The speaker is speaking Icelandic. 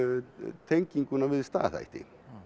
tenginguna við staðhætti